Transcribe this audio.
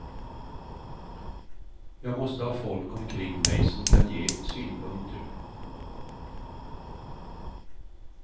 Jag måste ha folk omkring mig, som kan ge synpunkter.